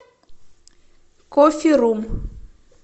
кофе рум